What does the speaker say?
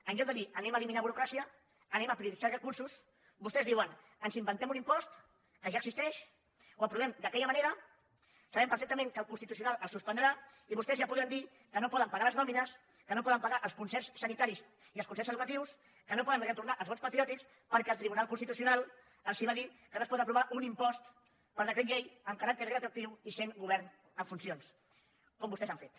en lloc de dir eliminem burocràcia prioritzem recursos vostès diuen ens inventem un impost que ja existeix l’aprovem d’aquella manera sabem perfectament que el constitucional el suspendrà i vostès ja podran dir que no poden pagar les nòmines que no poden pagar els concerts sanitaris i els concerts educatius que no poden retornar els bons patriòtics perquè el tribunal constitucional els va dir que no es pot aprovar un impost per decret llei amb caràcter retroactiu i sent govern en funcions com vostès han fet